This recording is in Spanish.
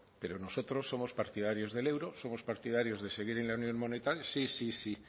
pero nosotros somos partidarios del euro somos partidarios de seguir en la unión monetaria sí sí sí